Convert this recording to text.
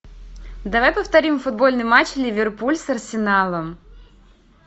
давай повторим футбольный матч ливерпуль с арсеналом